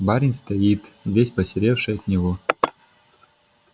барин стоит весь посеревший от него